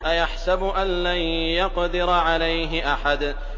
أَيَحْسَبُ أَن لَّن يَقْدِرَ عَلَيْهِ أَحَدٌ